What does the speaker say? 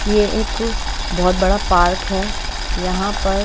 ये एक बहोत बड़ा पार्क है यहाँ पर --